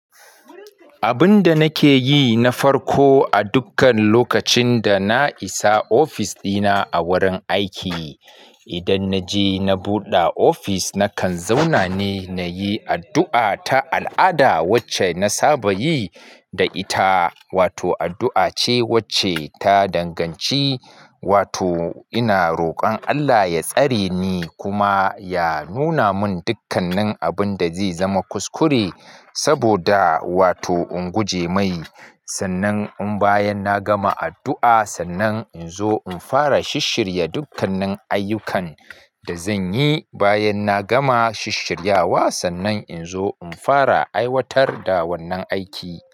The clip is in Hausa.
Abin da nake yi na farko a dukkan lokacin da na isa ofis dina a wurin aiki, idan na je na buɗe ofis, nakan zauna ne na yi addu'a ta al'ada wacce na saba yi da ita, wato addu'a ce wacce ta danganci, wato ina rokon Allah ya tsare ni kuma ya nuna mun dukkannin abin da zai zama kuskure saboda wato in guje mai. Sannan in bayan na gama addu'a, sannan in zo in fara shisshirya dukkanin ayyukan da zan yi. Bayan na gama shisshiryawa, sannan in zo in fara aiwatar da wannan aiki.